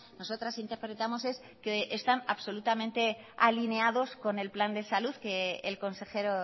nosotras interpretamos es que están absolutamente alineados con el plan de salud que el consejero